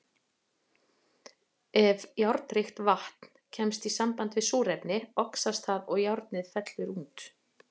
Ef járnríkt vatn kemst í samband við súrefni, oxast það og járnið fellur út.